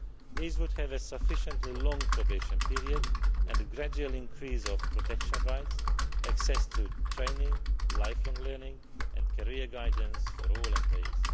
These would have a sufficiently long probation period and a gradual increase in protection rights, access to training, lifelong learning and career guidance for all employees.